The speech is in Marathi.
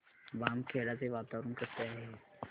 बामखेडा चे वातावरण कसे आहे